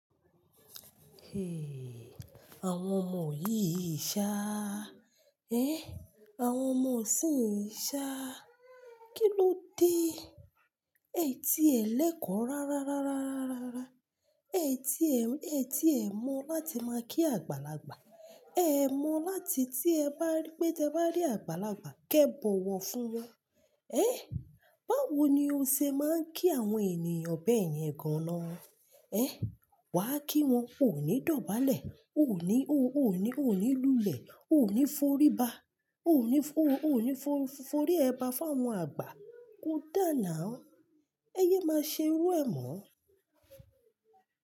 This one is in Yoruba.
Àwọn ọmọ yìí ṣá. Ẹ, àwọn ọmọ ṣí ń ṣá. Kí ló dé? Ẹ ti ẹ̀ lẹ́kọ̀ rárá, rárá, rárá, rárá. Ẹ ti ẹ̀, ẹ ti ẹ̀ mọ láti máa kí àgbàlagbà. Ẹ mọ láti tí ẹ bá rí pé, tí ẹ bá rí àgbàlagbà, kí ẹ bọ̀wọ̀ fún wọn. Ẹ, báwo ni o ṣe máa ń kí àwọn ènìyàn bẹ́ẹ̀ yẹn gan na? Ẹ, wà á kí wọn. O ò ní dọ̀bálẹ̀. O ò ní, o ò ní, o ò ní lulẹ̀. O ò ní forí ba. O le fo, o le forí ẹba fún àwọn àgbà. Kó dáa na na ń. Ẹ yé máa ṣe irú ẹ̀ mọ́.